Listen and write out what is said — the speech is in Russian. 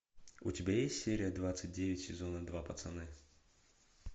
у тебя есть серия двадцать девять сезона два пацаны